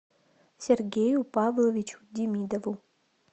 сергею павловичу демидову